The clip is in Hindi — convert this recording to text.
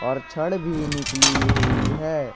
और क्षण भी निकली हुई है।